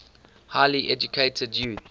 highly educated youth